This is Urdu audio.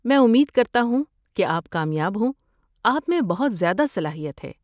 میں امید کرتا ہوں کہ آپ کامیاب ہوں، آپ میں بہت زیادہ صلاحیت ہے۔